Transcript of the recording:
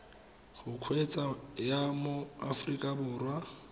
go kgweetsa ya mo aforika